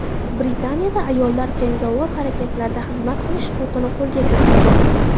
Britaniyada ayollar jangovar harakatlarda xizmat qilish huquqini qo‘lga kiritadi.